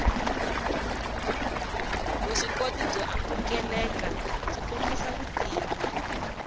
vuswikoti byo amukelekabyi kombisa vutivi